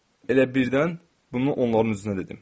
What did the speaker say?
Elə birdən bunu onların üzünə dedim.